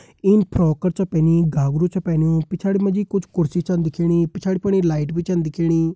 इन frock कर च पहनी घाघरू च पह्नयू पिछाड़ी मां जि कुछ कुर्सी छन दिखेणी पिछाड़ी फुण्ड ये लाइट भि छन दिखेणी।